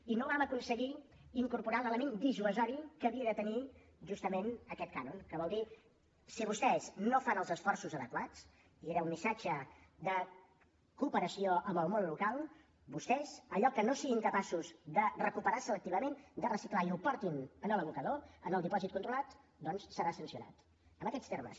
i no vam aconseguir incorporar l’element dissuasiu que havia de tenir justament aquest cànon que vol dir si vostès no fan els esforços adequats i era un missatge de cooperació amb el món local vostès allò que no siguin capaços de recuperar selectivament de reciclar i ho portin a l’abocador en el dipòsit controlat doncs serà sancionat en aquests termes